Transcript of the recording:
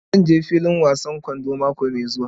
Zan je filin wasan kwando mako mai zuwa.